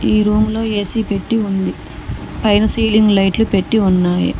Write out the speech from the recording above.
ఈ రూమ్ లో ఏ_సీ పెట్టి ఉంది పైన సీలింగ్ లైట్లు పెట్టి ఉన్నాయి.